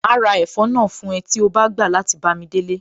Màá ra ẹ̀fọ́ náà fún ẹ tí o bá gbà láti bámi délé